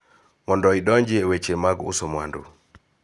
Mondo idonji e weche mag uso mwandu